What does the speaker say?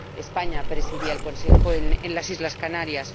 España presidía el Consejo, en las Islas Canarias.